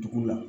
Dugu la